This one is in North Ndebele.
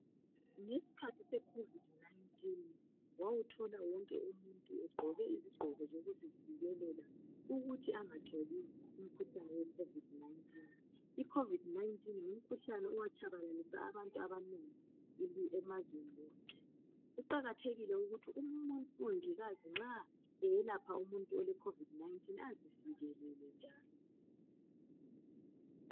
Ngesikhathi se COVID-19 wawuthola wonke umuntu egqoke izigqoko zokuzivikela ukuthi engatholi umkhuhlane we COVID-19. Umkhuhlane lo watshabalalisa abantu abanengi emazweni wonke. Kuqakathekile ukuthi umongikazi nxa eyelapha umuntu ole COVID-19 azivikele.